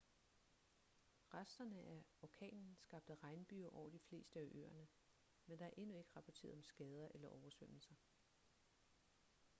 resterne af orkanen skabte regnbyger over de fleste af øerne men der er endnu ikke rapporteret om skader eller oversvømmelser